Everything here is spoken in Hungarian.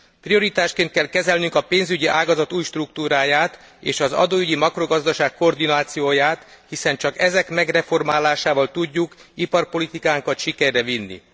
Prioritásként kell kezelnünk a pénzügyi ágazat új struktúráját, és az adóügyi makrogazdaság koordinációját, hiszen csak ezek megreformálásával tudjuk iparpolitikánkat sikerre vinni.